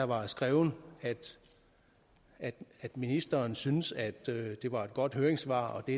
var skrevet at ministeren syntes at det var et godt høringssvar og at det